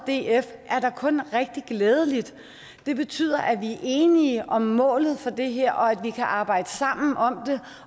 df er da kun rigtig glædeligt det betyder at vi er enige om målet for det her og at vi kan arbejde sammen om